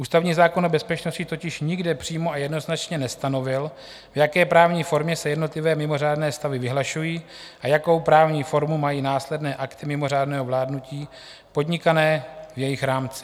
Ústavní zákon o bezpečnosti totiž nikde přímo a jednoznačně nestanovil, v jaké právní formě se jednotlivé mimořádné stavy vyhlašují a jakou právní formu mají následné akty mimořádného vládnutí podnikané v jejich rámci.